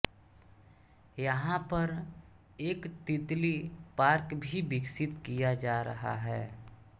यहां पर एक तितली पार्क भी विकसित किया जा रहा है